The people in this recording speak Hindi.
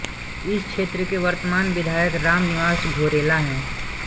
इस क्षेत्र के वर्तमान विधायक राम निवास घोरेला हैं